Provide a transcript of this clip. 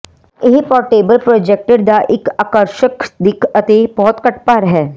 ਇਹ portable projector ਦਾ ਇੱਕ ਆਕਰਸ਼ਕ ਦਿੱਖ ਅਤੇ ਬਹੁਤ ਘੱਟ ਭਾਰ ਹੈ